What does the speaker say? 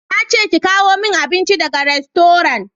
Na ce ki kawo min abinci daga rastoran!